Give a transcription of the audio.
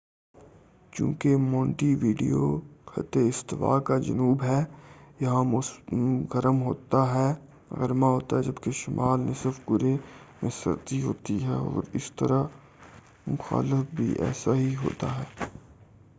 چونکہ Montevideo خطِ استوا کا جنوب ہے یہاں موسم گرما ہوتا ہے جب شمالی نصف کُرے میں سردی ہوتی ہے اور اسی طرح مخالف بھی ایسا ہی ہوتا ہے